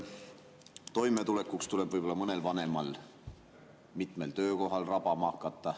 Toimetulekuks tuleb võib-olla mõnel vanemal inimesel hakata mitmel töökohal rabama.